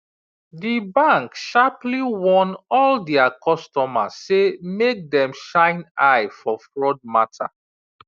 di bank sharply warn all dia customer say make dem shine eye for fraud matter